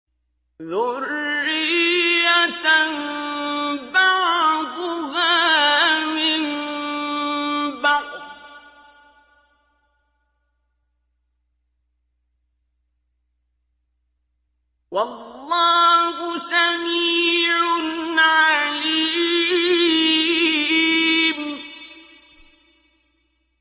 ذُرِّيَّةً بَعْضُهَا مِن بَعْضٍ ۗ وَاللَّهُ سَمِيعٌ عَلِيمٌ